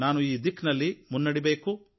ನಾನು ಈ ದಿಕ್ಕಿನಲ್ಲಿ ಮುನ್ನಡೆಯಬೇಕು